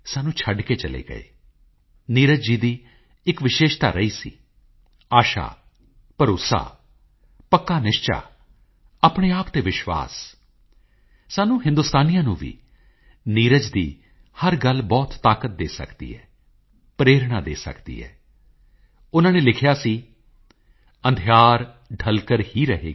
ਮੈਂ ਸਾਡੇ ਲੋਕਤੰਤਰ ਨੂੰ ਮਜ਼ਬੂਤ ਕਰਨ ਦੀ ਨਿਰੰਤਰ ਕੋਸ਼ਿਸ਼ ਲਈ ਚੋਣ ਆਯੋਗ ਦੀ ਸ਼ਲਾਘਾ ਕਰਦਾ ਹਾਂ ਮੈਂ ਸਾਰੇ ਰਾਜਾਂ ਦੇ ਚੋਣ ਆਯੋਗ ਦਾ ਸਾਰੇ ਸੁਰੱਖਿਆ ਕਰਮਚਾਰੀਆਂ ਦੀ ਹੋਰਨਾਂ ਕਰਮਚਾਰੀਆਂ ਦੀ ਵੀ ਸ਼ਲਾਘਾ ਕਰਦਾ ਹਾਂ ਜੋ ਮਤਦਾਨ ਪ੍ਰਕਿਰਿਆ ਵਿੱਚ ਹਿੱਸਾ ਲੈਂਦੇ ਹਨ ਅਤੇ ਸੁਤੰਤਰ ਤੇ ਨਿਰਪੱਖ ਚੋਣਾਂ ਨਿਸ਼ਚਿਤ ਕਰਦੇ ਹਨ